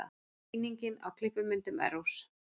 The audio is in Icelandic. Sýning á klippimyndum Errós